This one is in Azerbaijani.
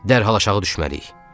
Dərhal aşağı düşməliyik.